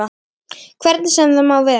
Hvernig sem það má vera.